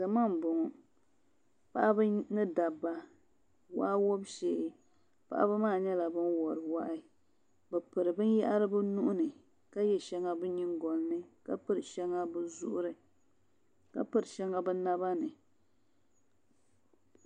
Salo n bɔŋɔ paɣaba ni dabba paɣaba maa nyɛla ban wori waa bi piri binyahri bi nuhini ka yɛ shɛŋa bi nyingoli ni ka yɛ shɛŋa bi zuɣuri ka piri shɛŋa bi naba ni